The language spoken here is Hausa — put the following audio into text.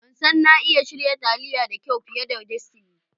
Ban san na iya shirya taliya da kyau fiye da Destiny.